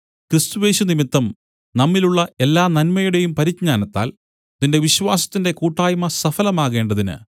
ക്രിസ്തുയേശു നിമിത്തം നമ്മിലുള്ള എല്ലാ നന്മയുടെയും പരിജ്ഞാനത്താൽ നിന്റെ വിശ്വാസത്തിന്റെ കൂട്ടായ്മ സഫലമാകേണ്ടതിന്